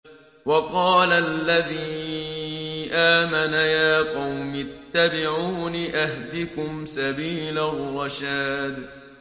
وَقَالَ الَّذِي آمَنَ يَا قَوْمِ اتَّبِعُونِ أَهْدِكُمْ سَبِيلَ الرَّشَادِ